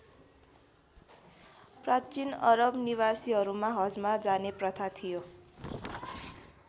प्राचीन अरब निवासीहरूमा हजमा जाने प्रथा थियो।